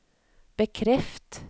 bekreft